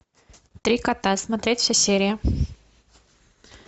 три кота смотреть все серии